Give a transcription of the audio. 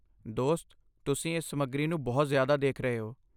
ਦੋਸਤ, ਤੁਸੀਂ ਇਸ ਸਮੱਗਰੀ ਨੂੰ ਬਹੁਤ ਜ਼ਿਆਦਾ ਦੇਖ ਰਹੇ ਹੋ।